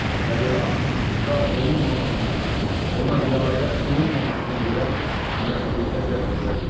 və belə aktın icra olunmamasına, ona riayət olunmamasına görə məsuliyyətə cəlb edilə bilməz.